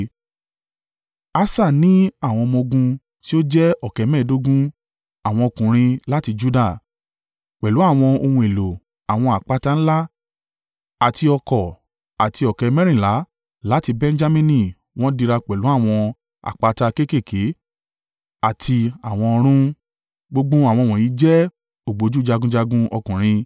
Asa ní àwọn ọmọ-ogun ti ó jẹ́ ọ̀kẹ́ mẹ́ẹ̀ẹ́dógún (300,000) àwọn ọkùnrin láti Juda. Pẹ̀lú àwọn ohun èlò àwọn àpáta ńlá àti ọ̀kọ̀ àti ọ̀kẹ́ mẹ́rìnlá (280,000) láti Benjamini wọ́n dira pẹ̀lú àwọn àpáta kéékèèké àti àwọn ọrun. Gbogbo àwọn wọ̀nyí jẹ́ ògbójú jagunjagun ọkùnrin.